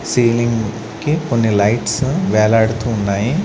Ceiling కి కొన్ని lights వేలాడుతూ ఉన్నాయి.